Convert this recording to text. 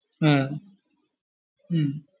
ആഹ് ഉം